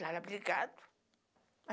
Lara Brigado?